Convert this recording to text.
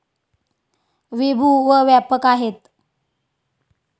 विभू व व्यापक आहेत.